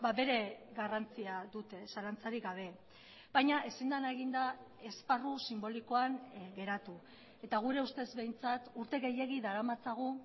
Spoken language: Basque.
bere garrantzia dute zalantzarik gabe baina ezin dena egin da esparru sinbolikoan geratu eta gure ustez behintzat urte gehiegi daramatzagu